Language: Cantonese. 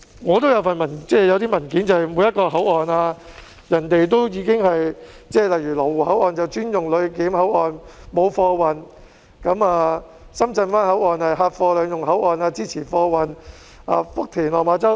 我有一些文件介紹每個口岸，例如羅湖口岸是專用作旅檢口岸，沒有貨運；深圳灣口岸是客貨兩用口岸，支持貨運；福田及落馬洲口岸......